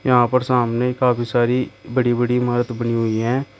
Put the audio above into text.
यहां पर सामने काफी सारी बड़ी बड़ी इमारत बनी हुई हैं।